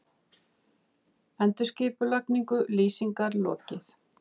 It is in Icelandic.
Endurskipulagningu Lýsingar lokið